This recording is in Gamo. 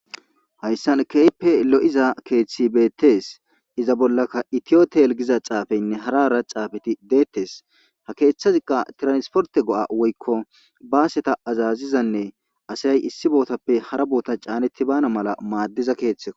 Hayssan keype lo7iza keeththi beettes iza bollaka itiyoto yelgiza caafeynne harara caafeti deettes ha keeththaziqa tiransporte go7a woykko baaseta azazizanne asayay issi bootappe hara boota caanetti baana mala maaddiza keeththek.